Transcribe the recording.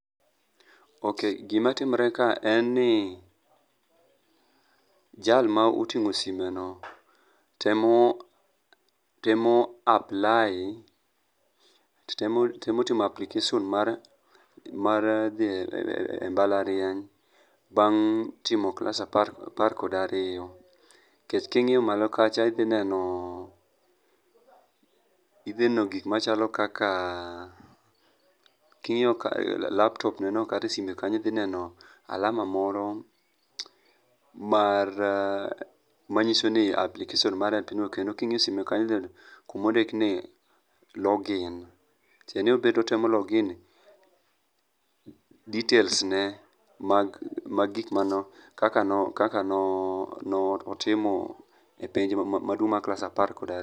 Ok, gimatimre ka en ni jal ma oting'o simeno temo timo application mar dhi e mbalariany bang' timo klas apar kod ariyo nikech ka ing'iyo malo kacha idhineno gik machalo kaka king'iyo laptopneno kata e sime kanyo idhineno alama moro manyiso ni application mare kendo king'iyo sime kanyo tidhineno Kumondikni login tiende ni obe otemo login details ne mag kaka notimo e penj maduong' mar klas apar kod ariyo.